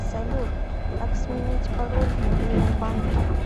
салют как сменить пароль в мобильном банке